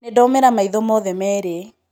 nĩndaũmĩra maitho mothe merĩ